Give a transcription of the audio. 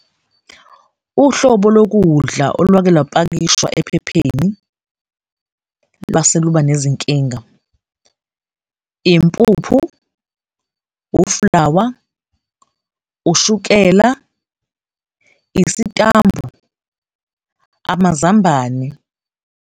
Uhlobo lokudla olwake lwapakishwa ephepheni lwase luba nezinkinga impuphu, uflawa, ushukela, isitambu, amazambane.